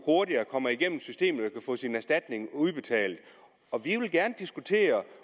hurtigere igennem systemet kan få sin erstatning udbetalt og vi vil gerne diskutere